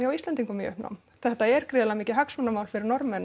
Íslendinga í uppnám þetta er gríðarlega mikið hagsmunamál fyrir Norðmenn